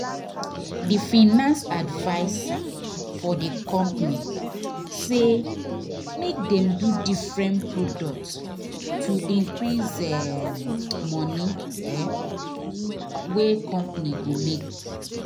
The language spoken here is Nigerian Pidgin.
d finance adviser for d company say make dem dey do different product to increase um moni um wey company go make